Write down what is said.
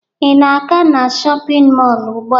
Ị na-aga na shọpịn mọọ ugbua?